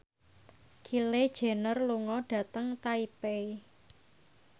Kylie Jenner lunga dhateng Taipei